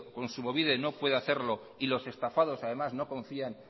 kontsumobide no puede hacerlo y los estafados además no confían